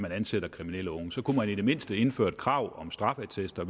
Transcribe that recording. at ansætte kriminelle unge så kunne vi i det mindste indføre et krav om straffeattester